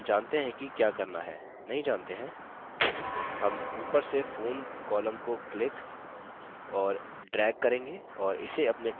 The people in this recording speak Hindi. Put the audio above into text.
हम ऊपर से phone column को click और drag करेंगे और इसे अपने text के आगे drop करेंगे